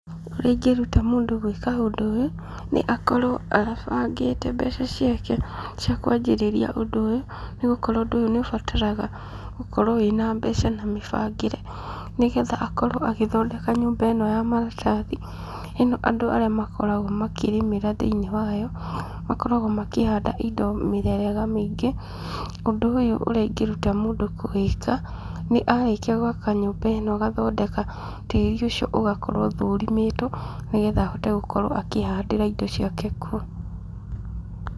Ũrĩa ingĩruta mũndũ gwĩka ũndũ ũyũ, nĩ akorwo abangĩte mbeca ciake cia kwanjĩrĩria ũndũ ũyũ, nĩ gũkorwo ũndũ ũyũ nĩ ũbataraga gũkorwo wĩna mbeca na mĩbangĩre, nĩgetha akorwo agĩthondeka nyũmba ĩno ya maratathi. Ĩno andũ arĩa makoragwo makĩrĩmĩra thĩinĩ wayo, makoragwo makĩhanda indo mĩthemba mĩingĩ. Ũndũ ũyũ ũrĩa ingĩruta mũndũ kũwĩka, nĩ arĩkia gwaka nyũmba ĩno agathondeka tĩri ũcio ũgakorwo ũthũrimĩtwo, nĩgetha ahote gũkorwo akĩhandĩra indo ciake kuo.